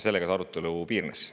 Sellega arutelu piirdus.